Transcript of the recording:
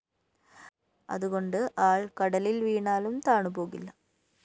അതുകൊണ്ട് ആള്‍ കടലില്‍ വീണാലും താണുപോകില്ല